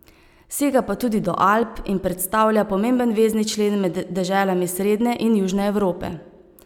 Sega pa tudi do Alp in predstavlja pomemben vezni člen med deželami srednje in južne Evrope.